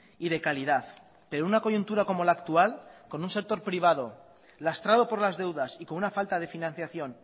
y de calidad pero una coyuntura como la actual con un sector privado lastrado por las deudas y con una falta de financiación